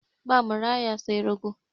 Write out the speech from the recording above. Ba maraya sai rago.